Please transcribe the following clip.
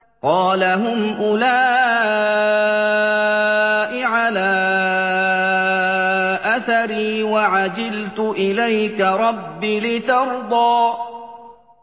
قَالَ هُمْ أُولَاءِ عَلَىٰ أَثَرِي وَعَجِلْتُ إِلَيْكَ رَبِّ لِتَرْضَىٰ